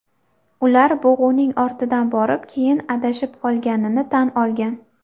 Ular bug‘uning ortidan borib, keyin adashib qolganini tan olgan.